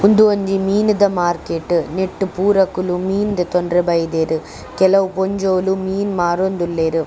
ಉಂದು ಒಂಜಿ ಮೀನುದ ಮಾರ್ಕೆಟ್ ನೆಟ್ಟ್ ಪೂರಕ್ಕುಲು ಮೀನ್ ದೆತೊಂಡ್ರೆ ಬೈದೆರ್ ಕೆಲವು ಪೊಂಜೊವುಲು ಮೀನ್ ಮಾರೊಂದುಲ್ಲೆರ್.